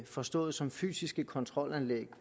forstået som fysiske kontrolanlæg